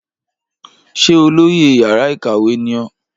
Ṣé olóyè yàrá ìkàwé ní ó?